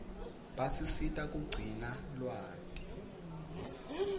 basisita kugcina lwati